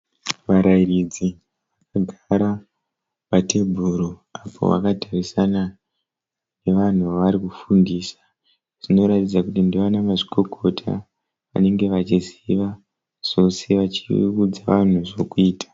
Varairidzi vakagara patebhuru apo vakatarisana nevanhu vavari kufundisa. Zvinoratidza kuti ndivana mazvikokota vanenge vachiziva zvose vachiudza vanhu zvokuita.